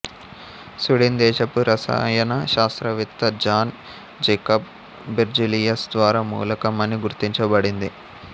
Sweden దేశపు రసాయన శాస్త్రవేత్త జాన్ జేకబ్ బెర్జీలియస్ ద్వారా మూలకం అని గుర్తించబడింది